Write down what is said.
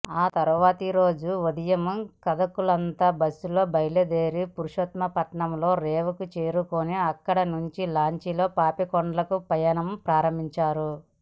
తర్వాతి రోజు ఉదయం కథకులంతా బస్సులో బయలుదేరి పురుషోత్తపట్నం రేవుకు చేరుకుని అక్కడి నుంచి లాంచీలో పాపికొండలకు పయనం ప్రారంభించారు